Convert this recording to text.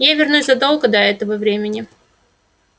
я вернусь задолго до этого времени